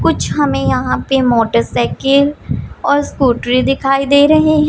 कुछ हमें यहां पर मोटरसाइकिल और स्कूटी दिखाई दे रहें--